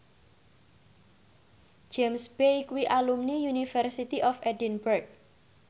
James Bay kuwi alumni University of Edinburgh